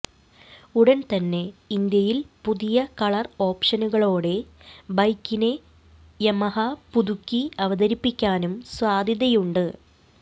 ഉടൻ തന്നെ ഇന്ത്യയിൽ പുതിയ കളർ ഓപ്ഷനുകളോടെ ബൈക്കിനെ യമഹ പുതുക്കി അവതരിപ്പിക്കാനും സാധ്യതയുണ്ട്